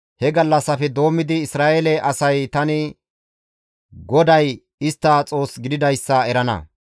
He gallassafe doommidi Isra7eele asay tani GODAY istta Xoos gididayssa erana.